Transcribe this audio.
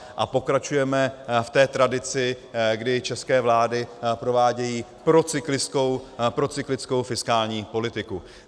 A pokračujeme v té tradici, kdy české vlády provádějí procyklickou fiskální politiku.